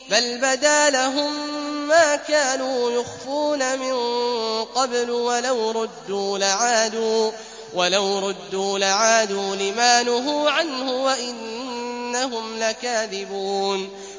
بَلْ بَدَا لَهُم مَّا كَانُوا يُخْفُونَ مِن قَبْلُ ۖ وَلَوْ رُدُّوا لَعَادُوا لِمَا نُهُوا عَنْهُ وَإِنَّهُمْ لَكَاذِبُونَ